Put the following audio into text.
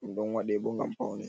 ɗum ɗon waɗe bo ngam paune.